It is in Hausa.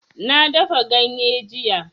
Na dafa ganye jiya